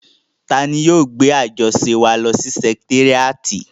Tani yóò gbé àjọṣe wa lọ sí sẹkitéríàtì?